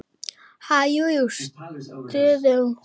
Ha- jú, jú stamaði Stjáni.